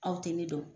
Aw tɛ ne dɔn